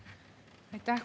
Aitäh!